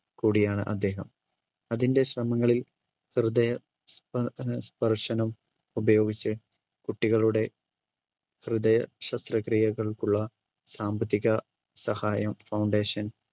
കൂടിയാണ് അദ്ദേഹം. അതിന്റെ ശ്രമങ്ങളിൽ ഹൃദയസ്പ~സ്പർശനം ഉപയോഗിച്ച് കുട്ടികളുടെ ഹൃദയ ശസ്ത്രക്രിയകൾക്കുള്ള സാമ്പത്തിക സഹായം foundation